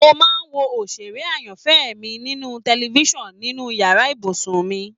Mo máa ń wo òṣèré ayanfẹ́ mí ninu tẹlifisiọnu inú yàrá ibùsùn mi